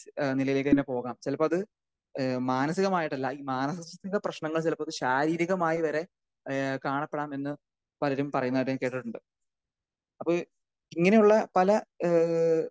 ഏഹ് നിലയിലേക്ക് തന്നെ പോകാം ചിലപ്പോൾ അത് ഏഹ് മാനസികമായിട്ടല്ല. ഈ മാനസികത്തിന്റെ പ്രശ്നങ്ങൾ ചിലപ്പോൾ അത് ശാരീരികമായി വരെ ഏഹ് കാണപ്പെടാമെന്ന് പലരും പറയുന്നതായി ഞാൻ കേട്ടിട്ടുണ്ട്. അപ്പൊ ഇങ്ങനെ ഉള്ള പല ഏഹ്